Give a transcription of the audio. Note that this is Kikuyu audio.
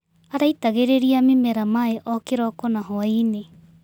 Araitagĩrĩria mĩmera maĩ o kĩroko na hwainĩ.